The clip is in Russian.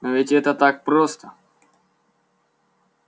но ведь это так просто